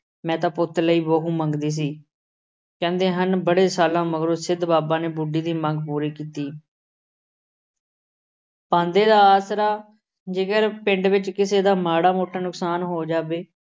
ਮੈਂ ਤਾਂ ਪੁੱਤ ਲਈ ਬਹੂ ਮੰਗਦੀ ਸੀ। ਕਹਿੰਦੇ ਹਨ ਬੜੇ ਸਾਲਾਂ ਮਗਰੋਂ ਸਿੱਧ ਬਾਬਾ ਨੇ ਬੁੱਢੀ ਦੀ ਮੰਗ ਪੂਰੀ ਕੀਤੀ। ਪਾਂਧੇ ਦਾ ਆਸਰਾ। ਜੇਕਰ ਪਿੰਡ ਵਿੱਚ ਕਿਸੇ ਦਾ ਮਾੜਾ ਮੋਟਾ ਨੁਕਸਾਨ ਹੋ ਜਾਵੇ।